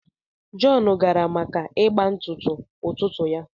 John gara maka ịgba ntụtụ ụtụtụ ya